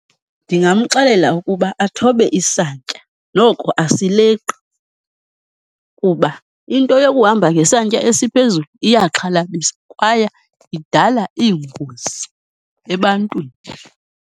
Ndingamxelela ukuba athobe isantya noko asileqi, kuba into yokuhamba ngesantya esiphezulu iyaxhalabisa, kwaye idala iingozi ebantwini.